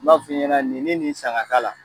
N b'a f'i ɲɛna ni ni nin san k'a k'a la